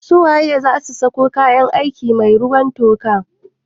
Su waye zasu sako kayan aiki mai ruwan toka?